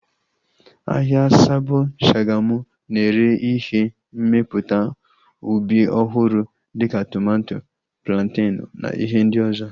Ahịa Sabo Shagamu na-ere ihe mmepụta ubi ọhụrụ dịka tomato, plantenu na ihe ndị ọzọ